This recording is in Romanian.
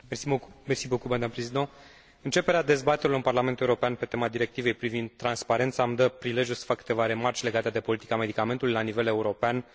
Începerea dezbaterilor în Parlamentul European pe tema directivei privind transparența, îmi dă prilejul să fac câteva remarci legate de politica medicamentului la nivel european și mai ales, în țara mea, România.